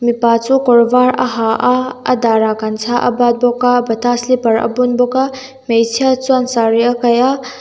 pa chu kawr vâr a ha a a dârah gamcha a bât bawk a bata slipper a bun bawk a hmeichhia chuan saree a kaih a.